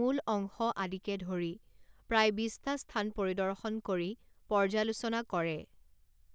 মূল অংশ আদিকে ধৰি প্ৰায় বিছটা স্থান পৰিদৰ্শন কৰি পৰ্যালোচনা কৰে।